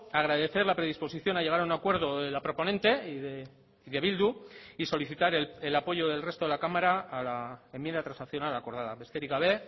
agradecer la predisposición a llegar a un acuerdo de la proponente y de bildu y solicitar el apoyo del resto de la cámara a la enmienda transaccional acordada besterik gabe